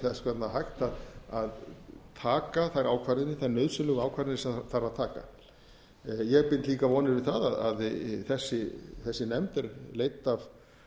þess vegna hægt að taka þær nauðsynlegu ákvarðanir sem þarf að taka ég bind líka vonir við það að þessi nefnd er leidd af